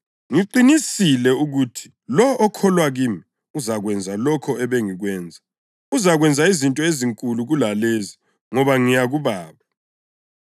Ngiqinisile ukuthi lowo okholwa kimi uzakwenza lokho ebengikwenza. Uzakwenza izinto ezinkulu kulalezi ngoba ngiya kuBaba.